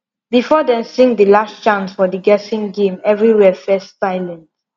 before dem sing the last chant for the guessing game everywhere first silent